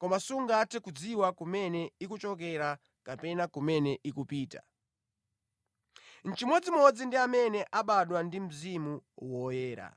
koma sungathe kudziwa kumene ikuchokera kapena kumene ikupita. Nʼchimodzimodzi ndi amene abadwa ndi Mzimu Woyera.”